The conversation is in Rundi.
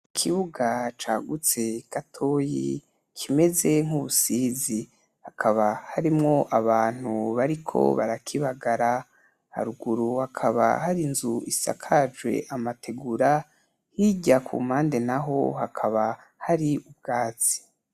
Ikibuga cagutse gatoyi kimeze nk'ubusizi hakaba harimwo abantu bariko barakibagara haruguru hakaba hari inzu isakajwe amategura hirya ku mpande naho hakaba hari ubwatsi.